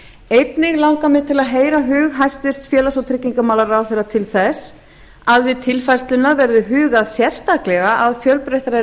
einnig langar mig til að heyra hug hæstvirtur félags og tryggingamálaráðherra til þess að við tilfærsluna verði hugað sérstaklega að fjölbreyttari